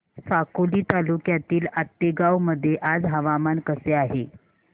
साकोली तालुक्यातील आतेगाव मध्ये आज हवामान कसे आहे